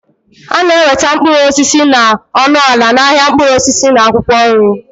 A na-enweta mkpụrụ osisi na ọnụ ala n'ahịa mkpụrụ osisi na akwụkwọ nri